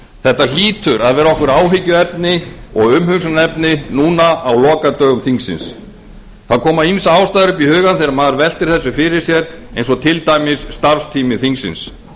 þetta hlýtur að vera okkur áhyggjuefni og umhugsunarefni núna á lokadögum þingsins ýmsar ástæður koma upp í hugann þegar maður veltir þessu fyrir sér eins og til dæmis starfstími þingsins